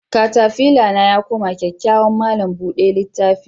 Katafila na yakoma kyakyawan malam buda litta.